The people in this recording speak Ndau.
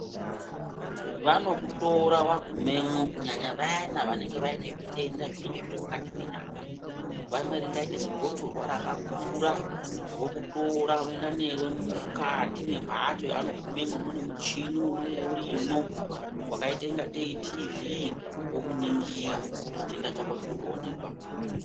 Vanokutora vagumemo kunyanya vayana vanenge vaine zvitenda zvinonga zviri mukati menyama. Vamwe ringaita zigotsorwa rakakura vokutora voenda neve mukati memhatso yavanogumemo mune muchini unonge urimwo vakaita kunga tee tivhi. Vokuningira chitenda chako chinotoonekwa.